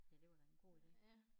Ja det var da en god ide